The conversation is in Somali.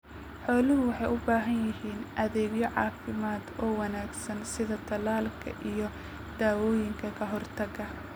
Xooluhu waxay u baahan yihiin adeegyo caafimaad oo wanaagsan sida tallaalka iyo dawooyinka ka hortagga.